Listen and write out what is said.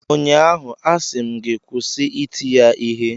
ụnyaahụ, a sị m gị kwụsị iti ya Ihe!